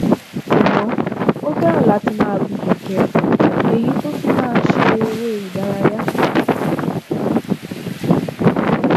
ṣùgbọn ó fẹràn láti máa gun kẹkẹ èyí tó fi máa ń ṣe eré ìdárayá